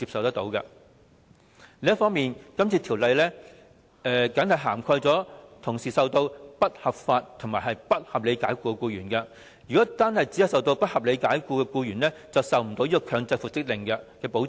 此外，《條例草案》的保障僅僅涵蓋同時受到不合理及不合法解僱的僱員，如果只是受到不合理解僱的僱員，便無法得到強制復職令的保障。